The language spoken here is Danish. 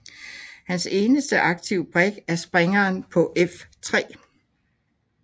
Hans eneste aktive brik er springeren på f3